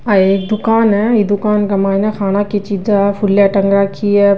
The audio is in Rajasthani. आ एक दुकान है दुकान के माइन खाने की चीजे है फूला टांग राखी है।